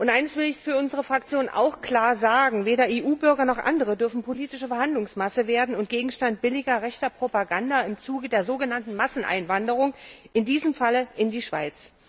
Eins will ich für unsere Fraktion auch klar sagen Weder EU Bürger noch andere dürfen politische Verhandlungsmasse werden und Gegenstand billiger rechter Propaganda im Zuge der sogenannten Masseneinwanderung, in diesem Falle in die Schweiz.